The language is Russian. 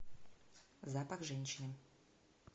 запах женщины